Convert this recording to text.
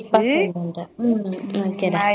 ஹம் bye okay டா